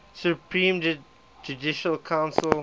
supreme judicial council